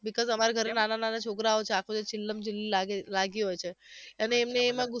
becasue અમારે ઘરે નાના નાના છોકરા ચીલામ્ચીલી લાગેલી લાગી હોય છે અને એમને એમાંં ગુસ્સો